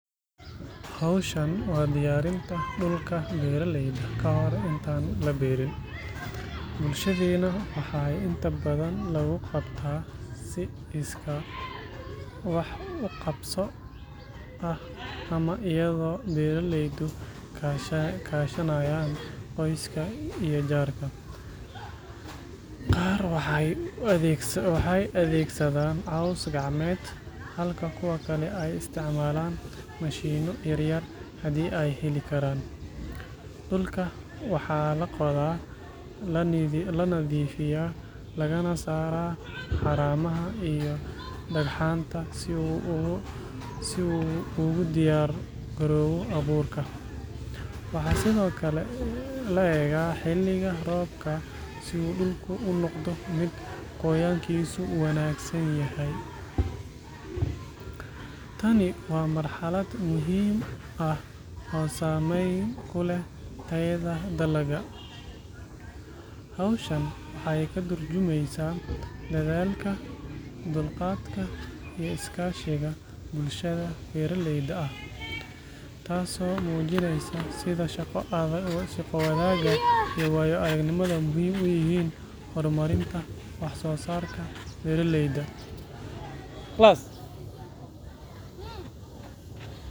Hawshan waa diyaarinta dhulka beeraleyda ka hor intaan la beeriin. Bulshadeenna waxaa inta badan lagu qabtaa si iskaa wax u qabso ah ama iyadoo beeraleydu kaashanayaan qoyska iyo jaarka. Qaar waxay adeegsadaan caws gacmeed, halka kuwa kale ay isticmaalaan mashiinno yar yar haddii ay heli karaan. Dhulka waxaa la qodaa, la nadiifiyaa lagana saaraa haramaha iyo dhagxaanta si uu ugu diyaar garoobo abuurka. Waxaa sidoo kale la eegaa xilliga roobka si dhulku u noqdo mid qoyaankiisu wanaagsan yahay. Tani waa marxalad muhiim ah oo saameyn ku leh tayada dalagga. Hawshan waxay ka tarjumaysaa dadaalka, dulqaadka, iyo iskaashiga bulshada beeraleyda ah, taasoo muujinaysa sida shaqo wadaagga iyo waayo-aragnimadu muhiim u yihiin horumarinta wax-soosaarka beeraleyda.